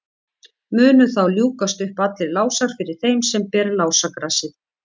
munu þá ljúkast upp allir lásar fyrir þeim sem ber lásagrasið